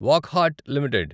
Wockhardt limited